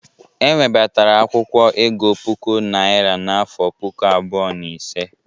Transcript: E webatara akwụkwọ ego puku naira n'afọ puku abụọ na ise.